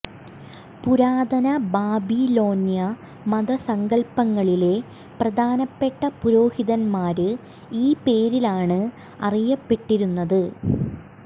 പുരാതന ബാബിലോന്യ മത സങ്കല്പ്പങ്ങളിലെ പ്രധാനപ്പെട്ട പുരോഹിതന്മാര് ഈ പേരിലാണ് അറിയപ്പെട്ടിരുന്നത്